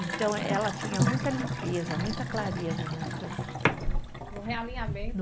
Então, ela tinha muita limpeza, muita clareza nessas. No realinhamento